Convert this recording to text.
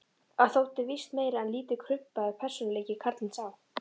Hann þótti víst meir en lítið krumpaður persónuleiki, karlinn sá.